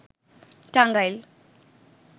Tangail